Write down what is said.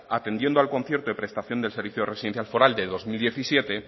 atendiendo al concierto de prestación de servicio de residencia foral del dos mil diecisiete